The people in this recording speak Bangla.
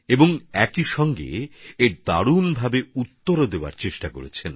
আর সেই সঙ্গে অসাধারণ পদ্ধতিতে এর উত্তরও দেওয়ার চেষ্টা করেছেন